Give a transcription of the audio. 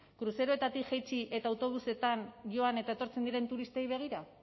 kruzeroetatik jaitsi eta autobusetan joan eta etortzen diren turistei begira